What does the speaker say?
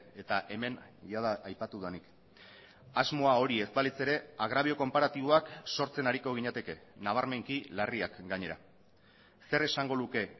eta hemen jada aipatu denik asmoa hori ez balitz ere agrabio konparatiboak sortzen ariko ginateke nabarmenki larriak gainera zer esango luke